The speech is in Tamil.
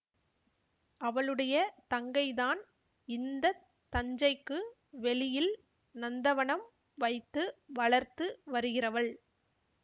அவளுடைய தங்கைதான் இந்த தஞ்சைக்கு வெளியில் நந்தவனம் வைத்து வளர்த்து வருகிறவள்